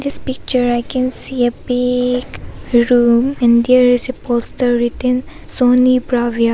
This picture I can see a bi-i-i-g room and there is a poster written sony bravia.